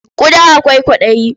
Ƙuda akwai kwaɗayi.